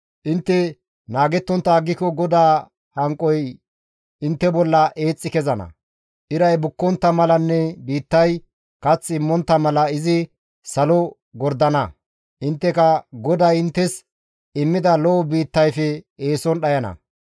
Intte naagettontta aggiko GODAA hanqoy intte bolla eexxi kezana; iray bukkontta malanne biittay kath immontta mala izi salo gordana; intteka GODAY inttes immida lo7o biittayfe eeson dhayana.